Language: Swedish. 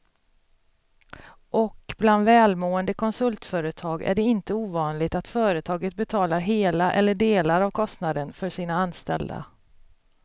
Och bland välmående konsultföretag är det inte ovanligt att företaget betalar hela eller delar av kostnaden för sina anställda.